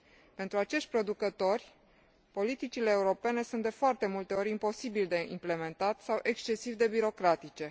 Pentru acești producători, politicile europene sunt de foarte multe ori imposibil de implementat sau excesiv de birocratice.